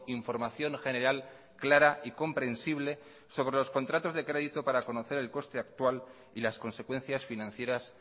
información general clara y comprensible sobre los contratos de crédito para conocer el coste actual y las consecuencias financieras